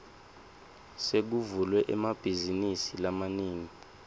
sekuvulwe emabhazinisi lamanengi